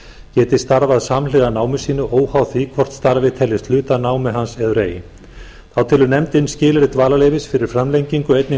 geti starfað samhliða námi sínu óháð því hvort starfið teljist hluti af námi hans eður ei þá telur nefndin skilyrði dvalarleyfis fyrir framlengingu einnig